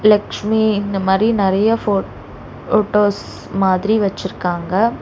லக்ஷ்மி இந்த மாரி நறைய ஃபோட் ஃபோட்டோஸ் மாதிரி வெச்சிருக்காங்க.